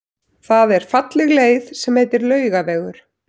Það er falleg leið sem heitir Laugavegur.